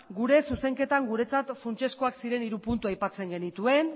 gure zuzenketan guretzat funtsezkoak ziren hiru puntu aipatzen genituen